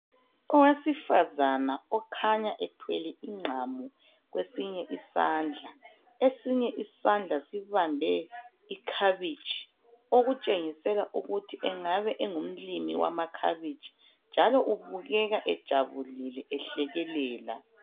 Owesifazana okhanya ethwele igqamu kwesinye isandla esinye isandla sibambe ikhabitshi okutshengisela ukuthi engabe engumlimi wamakhabitshi njalo ubukeka ejabulile ehlekelela.